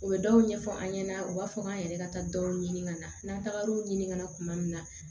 U bɛ dɔw ɲɛfɔ an ɲɛna u b'a fɔ k'an yɛrɛ ka taa dɔw ɲini ka na n'an tagar'o ɲini ka na kuma min na